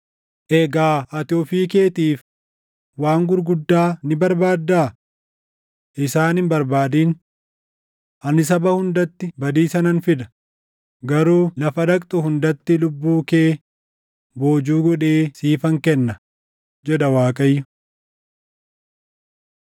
Egaa ati ofii keetiif waan gurguddaa ni barbaaddaa? Isaan hin barbaadin. Ani saba hundatti badiisa nan fida; garuu lafa dhaqxu hundatti lubbuu kee boojuu godhee siifan kenna, jedha Waaqayyo.’ ”